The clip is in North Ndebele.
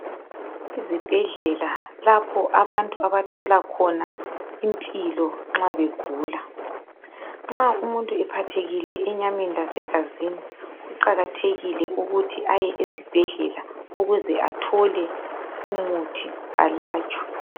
Izibhedlela lapho abantu abathola khona impilo nxa begula. Nxa umuntu ephathekile enyameni lasegazini kuqakathekile ukuthi ayesibhedlela ukuze athole umuthi alatshwe.